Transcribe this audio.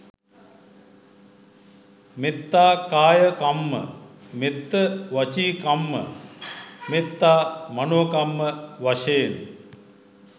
මෙත්තා කාය කම්ම, මෙත්ත වචීකම්ම, මෙත්තා මනෝකම්ම වශයෙන්